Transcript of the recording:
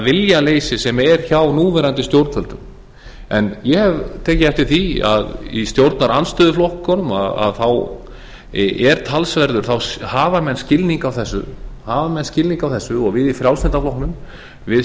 viljaleysi sem er hjá núverandi stjórnvöldum en ég hef tekið eftir því að í stjórnarandstöðuflokkunum hafa menn skilning á þessu og við í frjálslynda